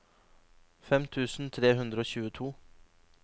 fem tusen tre hundre og tjueto